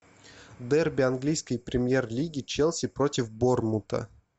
дерби английской премьер лиги челси против борнмута